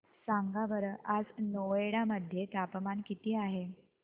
सांगा बरं आज नोएडा मध्ये तापमान किती आहे